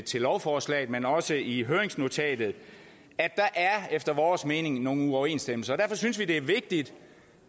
til lovforslaget men også i høringsnotatet at der efter vores mening er nogle uoverensstemmelser derfor synes vi det er vigtigt